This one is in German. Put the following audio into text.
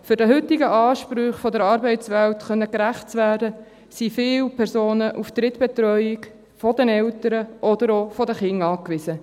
Um den heutigen Ansprüchen der Arbeitswelt gerecht werden zu können, sind viele Personen auf Drittbetreuung der Eltern oder auch der Kinder angewiesen.